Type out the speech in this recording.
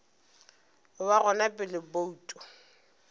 go ba gona pele bouto